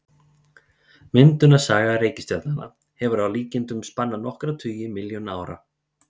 Myndunarsaga reikistjarnanna hefur að líkindum spannað nokkra tugi milljóna ára.